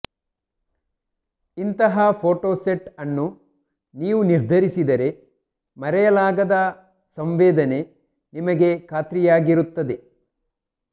ಇಂತಹ ಫೋಟೋಸೆಟ್ ಅನ್ನು ನೀವು ನಿರ್ಧರಿಸಿದರೆ ಮರೆಯಲಾಗದ ಸಂವೇದನೆ ನಿಮಗೆ ಖಾತ್ರಿಯಾಗಿರುತ್ತದೆ